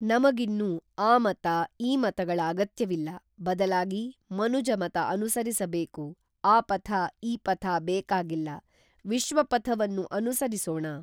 ನಮಗಿನ್ನು ಆ ಮತ ಈ ಮತಗಳ ಅಗತ್ಯವಿಲ್ಲ ಬದಲಾಗಿ ಮನುಜ ಮತ ಅನುಸರಿಸಬೇಕು ಆ ಪಥ ಈ ಪಥ ಬೇಕಾಗಿಲ್ಲ ವಿಶ್ವಪಥವನ್ನು ಅನುಸರಿಸೋಣ